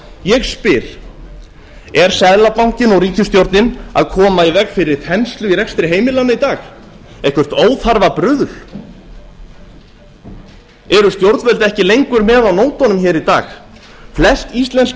ég spyr er seðlabankinn og ríkisstjórnin að koma í veg fyrir þenslu í rekstri heimilanna í dag eitthvert óþarfa bruðl eru stjórnvöld ekki lengur með á nótunum hér í dag flest íslensk